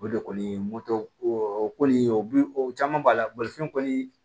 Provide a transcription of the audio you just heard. O de kɔni o kɔni o bi o caman b'a la bolifɛn kɔni